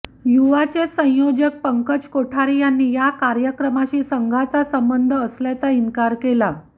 युवाचे संयोजक पंकज कोठारी यांनी या कार्यक्रमाशी संघाचा संबंध असल्याचा इन्कार केला